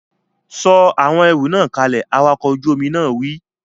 Sọ àwọn ẹrù náà kalẹ̀! Awakọ̀ ojú omi náà wí!